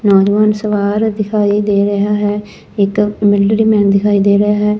ਨੌਜਵਾਨ ਸਵਾਰ ਦਿਖਾਈ ਦੇ ਰਿਹਾ ਹੈ ਇੱਕ ਮਿਲੀਟਰੀ ਮੈਨ ਦਿਖਾਈ ਦੇ ਰਿਹਾ ਹੈ।